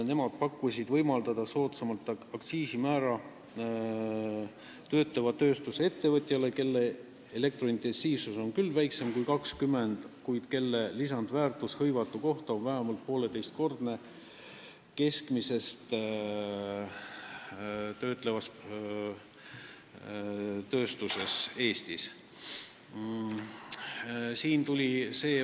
Nemad pakkusid võimaldada soodsamat aktsiisimäära töötleva tööstuse ettevõtjatele, kelle elektrointensiivsus on küll väiksem kui 20%, kuid kelle puhul lisandväärtus hõivatu kohta on vähemalt poolteisekordne võrreldes töötleva tööstuse keskmise näitajaga Eestis.